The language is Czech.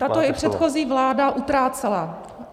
Tato i předchozí vláda utrácela.